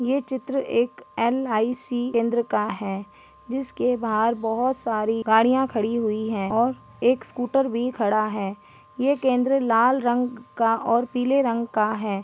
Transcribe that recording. ये चित्र एक एल.आई.सी केंद्र का है जिसके बाहर बहोत सारी गाड़ियाँ खड़ी हुई हैं और एक स्कूटर भी खड़ा है ये केंद्र लाल रंग का और पीले रंग का है।